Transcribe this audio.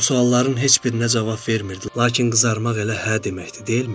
O sualların heç birinə cavab vermirdi, lakin qızarmaq elə hə deməkdir, deyilmi?